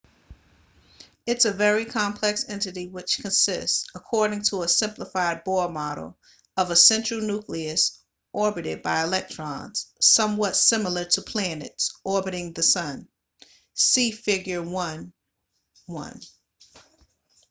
its a very complex entity which consists according to a simplified bohr model of a central nucleus orbited by electrons somewhat similar to planets orbiting the sun see figure 1.1